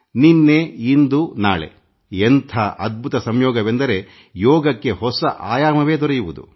ನಿನ್ನೆ ಇಂದು ನಾಳೆ ಎಂಥ ಅದ್ಭುತ ಸಂಯೋಗವೆಂದರೆ ಯೋಗಕ್ಕೆ ಹೊಸ ಆಯಾಮವೇ ದೊರೆಯುವುದು